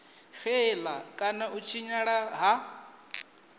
xela kana u tshinyala ha